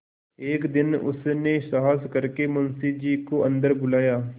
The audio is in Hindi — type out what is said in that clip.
एक दिन उसने साहस करके मुंशी जी को अन्दर बुलाया